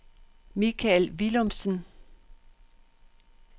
Mikael Villumsen